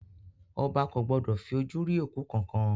Ọba ko gbọdọ̀ fi ojú rí òkú kankan.